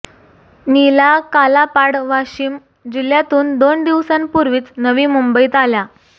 नीला कालापाड वाशिम जिल्ह्यातून दोन दिवसांपूर्वीच नवी मुंबईत आल्या